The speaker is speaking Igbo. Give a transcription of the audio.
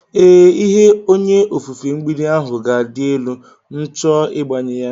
Ee, ihe onye ofufe mgbidi ahụ ga-adị elu m h cho igbanye ya.